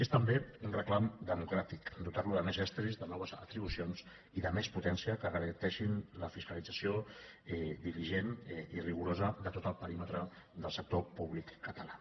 és també un reclam democràtic dotar lo de més estris de noves atribucions i de més potència que garanteixin la fiscalització diligent i rigorosa de tot el perímetre del sector públic català